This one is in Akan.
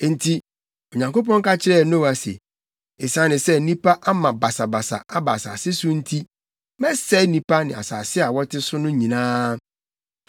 Enti Onyankopɔn ka kyerɛɛ Noa se, “Esiane sɛ nnipa ama basabasa aba asase so nti, mɛsɛe nnipa ne asase a wɔte so no nyinaa.